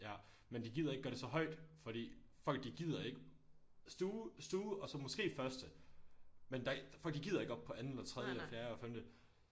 Ja men de gider ikke gøre det så højt fordi folk de gider ikke stue stue og så måske første men der folk de gider ikke op på anden eller tredje eller fjerde femte